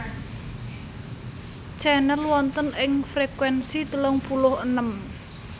Channel wonten ing frekuensi telung puluh enem